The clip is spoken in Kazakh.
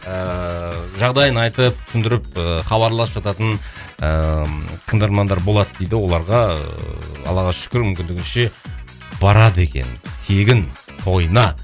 ыыы жағдайын айтып түсіндіріп ыыы хабарласып жататын ыыы тыңдармандар болады дейді оларға ыыы аллаға шүкір мүмкіндігінше барады екен тегін тойына